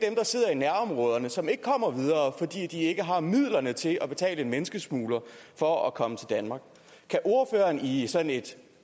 i nærområderne og som ikke kommer videre fordi de ikke har midlerne til at betale en menneskesmugler for at komme til danmark kan ordføreren i sådan et